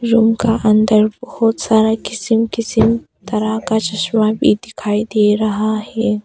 Room का अंदर बहुत सारा किसिम किसिम तरह का चश्मा भी दिखाई दे रहा है।